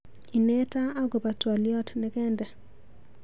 Ineta akobo twaliot nekende.